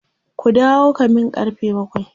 ku dawo kamin karfe bakwai!